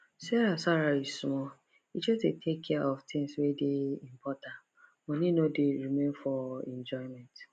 sarah salary small e just dey take care of tins wey dey important money no dey remain for enjoyment